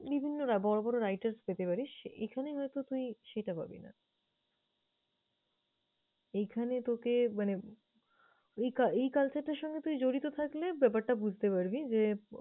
বিভিন্ন রা বড় বড় writers পেতে পারিস এখানে হয়তো তুই সেটা পাবি না। এখানে তোকে মানে ওই cul~ এই culture টার সঙ্গে তুই জড়িত থাকলে ব্যাপারটা বুঝতে পারবি যে